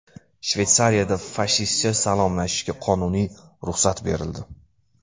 Shveysariyada fashistcha salomlashishga qonuniy ruxsat berildi.